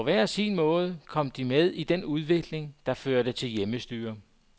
På hver sin måde kom de med i den udvikling, der førte til hjemmestyre.